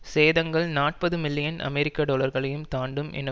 சேதங்கள் நாற்பது மில்லியன் அமெரிக்க டொலர்களையும் தாண்டும் என